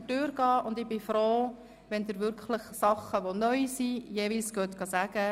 Allerdings lassen sie sich nur artikelweise ordnen.